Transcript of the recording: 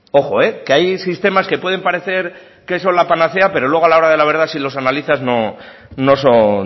ojo que hay sistemas que pueden parecer que son la panacea pero luego a la hora de la verdad si los analizas no son